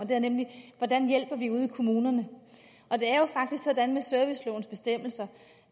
det er nemlig hvordan hjælper vi ude i kommunerne og det er jo faktisk sådan med servicelovens bestemmelser